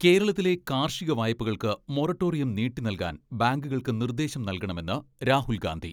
കേരളത്തിലെ കാർഷിക വായ്പകൾക്ക് മൊറട്ടോറിയം നീട്ടി നൽകാൻ ബാങ്കുകൾക്ക് നിർദേശം നൽകണമെന്ന് രാഹുൽ ഗാന്ധി.